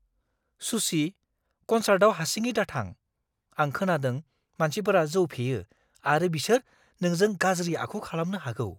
सुची। कनसार्टआव हारसिङै दाथां। आं खोनादों मानसिफोरा जौ फेयो आरो बिसोर नोंजों गाज्रि आखु खालामनो हागौ।